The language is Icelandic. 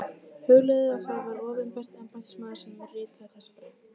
Hugleiðið að það var opinber embættismaður sem ritaði þessa grein.